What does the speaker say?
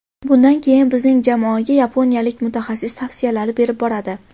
Bundan keyin bizning jamoaga yaponiyalik mutaxassis tavsiyalar berib boradi.